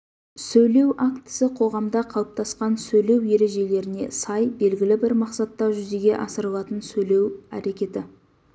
сөйлеу актісі қоғамда қалыптасқан сөйлеу ережелеріне сай белгілі бір мақсатта жүзеге асырылатын сөйлеу әрекеті